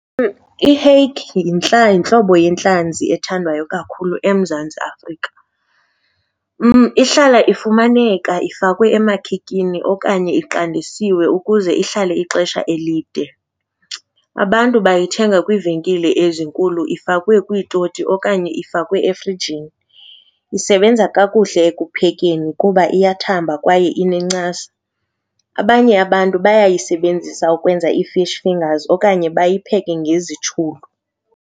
I-hake yintlobo yentlanzi ethandwayo kakhulu eMzantsi Afrika. Ihlala ifumaneka ifakwe emakhikini okanye iqandisiwe ukuze ihlale ixesha elide. Abantu bayithenga kwiivenkile ezinkulu ifakwe kwiitoti okanye ifakwe efrijini. Isebenza kakuhle ekuphekeni kuba iyathamba kwaye inencasa. Abanye abantu bayayisebenzisa ukwenza ii-fish fingers okanye bayipheke ngezitshulu.